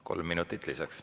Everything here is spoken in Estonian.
Kolm minutit lisaks.